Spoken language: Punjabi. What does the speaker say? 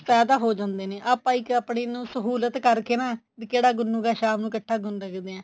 ਕੁੱਛ ਪੈਦਾ ਹੋ ਜਾਂਦੇ ਨੇ ਆਪਾਂ ਇੱਕ ਆਪਣੀ ਨੂੰ ਸਹੁਲਤ ਕਰਕੇ ਨਾ ਵੀ ਕਿਹੜਾ ਗੁੰਨੁਗਾ ਸ਼ਾਮ ਨੂੰ ਇੱਕਠਾ ਗੁੰਨ ਸਕਦੇ ਐ